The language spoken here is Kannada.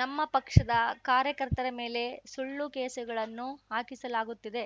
ನಮ್ಮ ಪಕ್ಷದ ಕಾರ್ಯಕರ್ತರ ಮೇಲೆ ಸುಳ್ಳು ಕೇಸ್‌ಗಳನ್ನು ಹಾಕಿಸಲಾಗುತ್ತಿದೆ